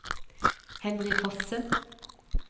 Henry Fosse